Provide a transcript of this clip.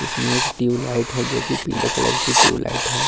इसमें एक tube light है जो की पीले कलर ट्यूब लाइट की है।